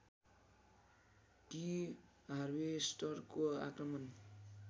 कि हार्वेस्टरको आक्रमण